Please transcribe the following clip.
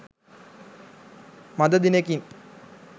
මඳ දිනෙකින්